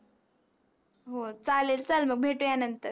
हो चालेल चल मग भेटू या नंतर